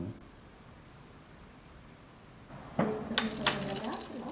Né e aí você começou a trabalhar de lá?